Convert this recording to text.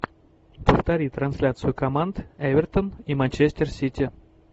повтори трансляцию команд эвертон и манчестер сити